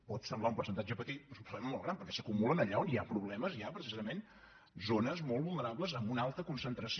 pot semblar un percentatge petit però és un problema molt gran perquè s’acumulen allà on hi ha problemes ja precisament zones molt vulnerables amb una alta concentració